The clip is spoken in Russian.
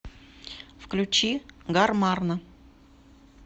включи гармарна